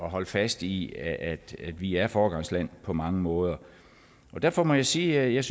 holde fast i at vi er et foregangsland på mange måder derfor må jeg sige at jeg